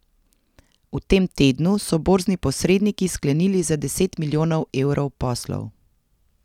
V tem tednu so borzni posredniki sklenili za deset milijonov evrov poslov.